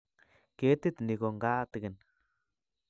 Ketit ni ko ngatigin